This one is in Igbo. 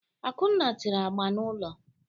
Akunna tere agba n'ulo.